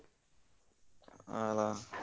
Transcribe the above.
ಆ ಅಲ್ಲಾ.